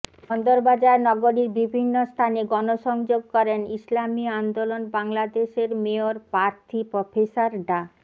বন্দরবাজার নগরীর বিভিন্ন স্থানে গণসংযোগ করেন ইসলামী আন্দোলন বাংলাদেশের মেয়র প্রার্থী প্রফেসর ডা